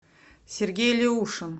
сергей леушин